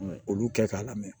Olu kɛ k'a lamɛn